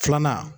Filanan